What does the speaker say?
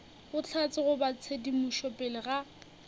bohlatse goba tshedimošo pele ga